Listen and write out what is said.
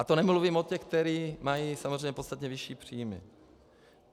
A to nemluvím o těch, kteří mají samozřejmě podstatně vyšší příjmy.